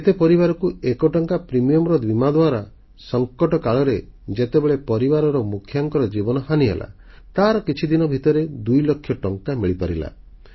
କେତେ ପରିବାରକୁ 1 ଟଙ୍କା ପ୍ରିମିୟମର ବୀମା ଦ୍ୱାରା ସଂକଟ କାଳରେ ଯେତେବେଳେ ପରିବାର ମୁଖିଆଙ୍କର ଜୀବନହାନି ହେଲା ତାର କିଛିଦିନ ଭିତରେ 2 ଲକ୍ଷ ଟଙ୍କା ମିଳିପାରିଲା